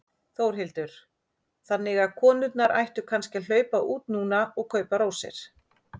Þórhildur: Þannig að konurnar ættu kannski að hlaupa út núna og kaupa rósir?